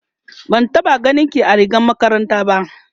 ban taɓa ganinki a rigar makaranta. ba